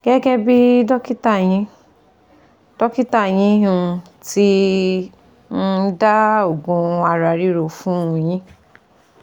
Gẹ́gẹ́ bí dọ́kítà yín dọ́kítà yín um ti um dá òògùn ara ríro fún un yín